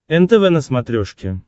нтв на смотрешке